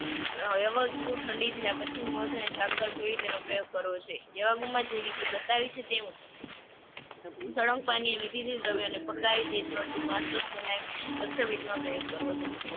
અમ ઠંડી થયા પછી મધ અને સાંકળ સાથે તેનો પ્રયોગ કરવો છે. જે બતાવી છે તે મુજબ સળંગ પાણીએ વિધિની દ્રવ્યને રક્તપિતમાં પ્રયોગ કરવો છે.